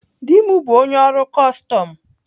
Di m bụ onye ọrụ kọstọm.